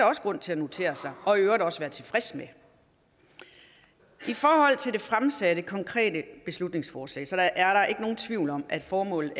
også grund til at notere sig og i øvrigt også være tilfreds med i forhold til det fremsatte konkrete beslutningsforslag er der ikke nogen tvivl om at formålet